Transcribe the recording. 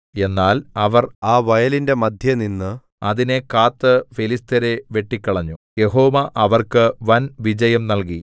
എന്നാൽ അവർ ആ വയലിന്റെ മദ്ധ്യേനിന്ന് അതിനെ കാത്ത് ഫെലിസ്ത്യരെ വെട്ടിക്കളഞ്ഞു യഹോവ അവർക്ക് വൻവിജയം നല്കി